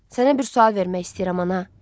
Sənə bir sual vermək istəyirəm, ana.